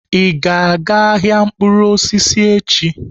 Ị ga-aga ahịa mkpụrụ osisi echi?